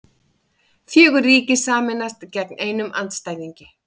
Fjögur ríki sameinast gegn einum andstæðingi